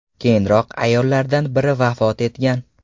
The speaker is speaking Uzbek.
Keyinroq ayollardan biri vafot etgan.